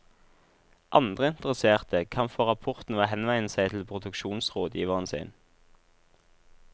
Andre interesserte kan få rapporten ved å henvende seg til produksjonsrådgiveren sin.